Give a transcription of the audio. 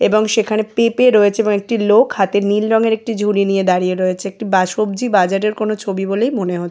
এবং সেখানে পেঁপে রয়েছে এবং একটি লোক হাতে নীল রঙের একটি ঝুড়ি নিয়ে দাঁড়িয়ে রয়েছে। এটি বা সব্জি বাজারের কোনো ছবি বলেই মনে হ--